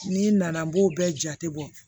N'i nana n b'o bɛɛ jate bɔ